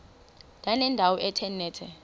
ndanendawo ethe nethe